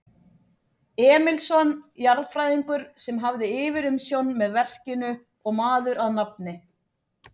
Emilsson, jarðfræðingur, sem hafði yfirumsjón með verkinu og maður að nafni